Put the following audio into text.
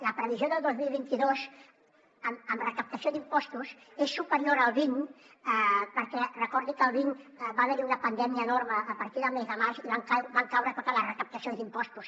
la previsió del dos mil vint dos en recaptació d’impostos és superior al vint perquè recordi que el vint va haver hi una pandèmia enorme a partir del mes de març i van caure totes les recaptacions d’impostos